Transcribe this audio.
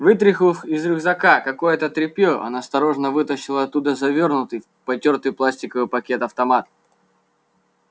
вытряхнув из рюкзака какое-то тряпье он осторожно вытащил оттуда завёрнутый в потёртый пластиковый пакет автомат